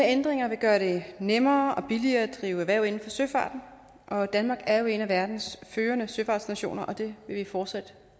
ændringer vil gøre det nemmere og billigere at drive erhverv inden for søfarten danmark er jo en af verdens førende søfartsnationer det vil vi fortsat